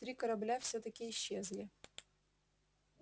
три корабля всё-таки исчезли